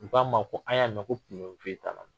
U k'a ma ko an y'a mɛn ko foyi t'a la